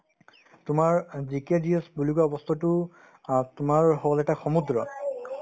তোমাৰ অ GK GS বুলি কোৱা বস্তুতো অ তোমাৰ হ'ল এটা সমুদ্ৰ